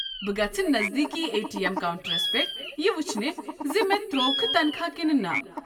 بہٕ گژھٕ نزدیكی اے ٹی اٮ۪م کونٛٹرس پٮ۪ٹھ یہِ وٕچھنہِ زِ مےٚ ترٛووکھٕ تنخواہ کنہٕ نہ۔